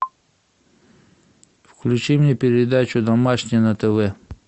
включи мне передачу домашний на тв